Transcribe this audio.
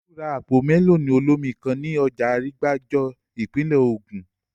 Olú ra àpò mẹ́lọ̀nù olómi kan ní ọjà Arígbájó, ìpínlè Ògùn